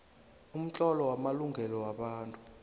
umtlolo wamalungelo wobuntu